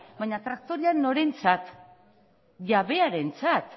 baina traktorea norentzat jabearentzat